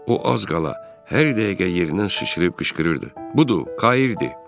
O az qala hər dəqiqə yerindən sıçrıyıb qışqırırdı: budur, Kairdir!